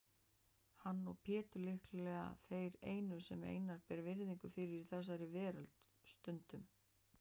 Hann og Pétur líklega þeir einu sem Einar ber virðingu fyrir í þessari veröld, stundum